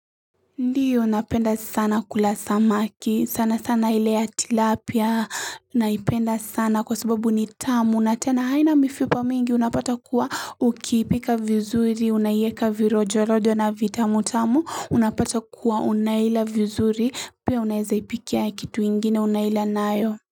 Ndio napenda sana kula samaki sana sana ile ya tilapia naipenda sana kwa sababu ni tamu na tena haina mifipa mingi unapata kuwa ukiipika vizuri unaieka virojo rojo na vitamu tamu unapata kuwa unaila vizuri pia unaeza ipikia kitu ingine unaila nayo.